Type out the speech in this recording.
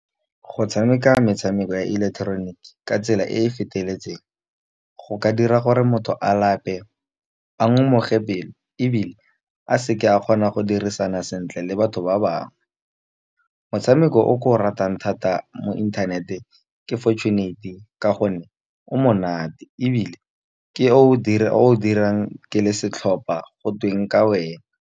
Go tshameka metshameko ya ileketeroniki, ka tsela e e feteletseng go ka dira gore motho a lape a ngomoge pelo. Ebile a seke a kgona go dirisana sentle le batho ba bangwe, motshameko o ke o ratang thata mo inthanete ke fortunate, ka gonne o monate. Ebile ke o dirang ke le setlhopha go tweng ka wena.